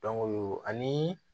ani